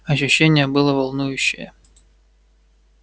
ощущение было волнующее